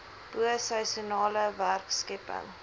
bo seisoenale werkskepping